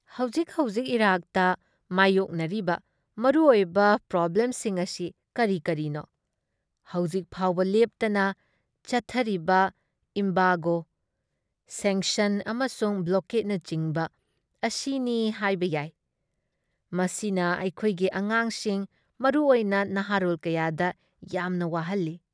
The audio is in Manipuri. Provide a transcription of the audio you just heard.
ꯍꯧꯖꯤꯛ ꯍꯧꯖꯤꯛ ꯏꯔꯥꯛꯇ ꯃꯥꯏꯌꯣꯛꯅꯔꯤꯕ ꯃꯔꯨ ꯑꯣꯏꯕ ꯄ꯭ꯔꯣꯕꯡꯂꯦꯝꯁꯤꯡ ꯑꯁꯤ ꯀꯔꯤ ꯀꯔꯤꯅꯣ? ꯍꯧꯖꯤꯛ ꯐꯥꯎꯕ ꯂꯦꯞꯇꯅ ꯆꯠꯊꯤꯕ ꯏꯝꯕꯥꯒꯣ, ꯁꯦꯡꯁꯟ ꯑꯃꯁꯨꯡ ꯕ꯭ꯂꯣꯀꯦꯠꯅꯆꯤꯡꯕ ꯑꯁꯤꯅꯤ ꯍꯥꯏꯕ ꯌꯥꯏ ꯫ ꯃꯁꯤꯅ ꯑꯩꯈꯣꯏꯒꯤ ꯑꯉꯥꯡꯒꯤꯡ ꯃꯔꯨ ꯑꯣꯏꯅ ꯅꯍꯥꯔꯣꯜ ꯀꯌꯥꯗ ꯌꯥꯝꯅ ꯋꯥꯍꯜꯂꯤ ꯫